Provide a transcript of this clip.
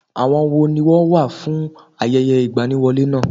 Àwọn wo ni wọ́n wá fún ayẹyẹ ìgbaniwọlé náà?